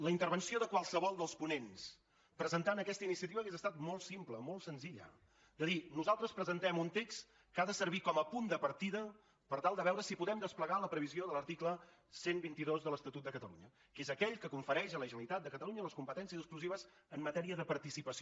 la intervenció de qualsevol dels ponents presentant aquesta iniciativa hauria estat molt simple molt senzilla de dir nosaltres presentem un text que ha de servir com a punt de partida per tal de veure si podem desplegar la previsió de l’article cent i vint dos de l’estatut de catalunya que és aquell que confereix a la generalitat de catalunya les competències exclusives en matèria de participació